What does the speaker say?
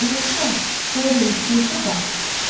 Əlbəttə, Dorin istəyirsə qal.